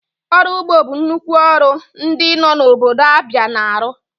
Ọrụ ụgbọ bụ nnukwu ọrụ ndị nọ n'obodo Abia na-arụ.